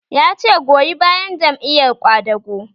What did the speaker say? Ya ce 'Goyi bayan Jam'iyar Ƙwadago'!